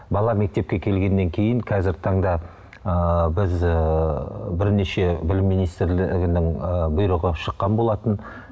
бала мектепке келгеннен кейін қазіргі таңда ыыы біз ыыы бірнеше білім министрлігінің ыыы бұйрығы шыққан болатын